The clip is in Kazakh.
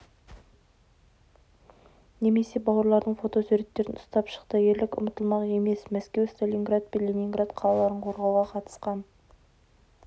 немесе бауырларының фотосуреттерін ұстап шықты ерлік ұмытылмақ емес мәскеу сталинград пен ленинград қалаларын қорғауға қатысқан